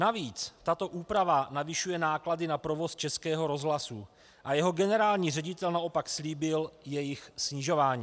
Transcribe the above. Navíc tato úprava navyšuje náklady na provoz Českého rozhlasu a jeho generální ředitel naopak slíbil jejich snižování.